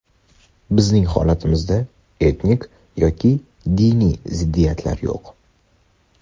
Bizning holatimizda etnik yoki diniy ziddiyatlar yo‘q.